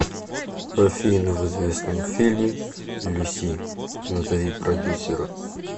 афина в известном фильме люси назови продюсера